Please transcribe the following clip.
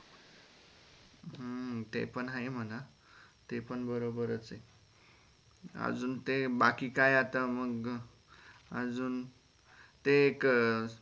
हम्म ते पण आहे मना ते पण बरोबर च हे अजून ते बाकी काय आता मग अजून ते एक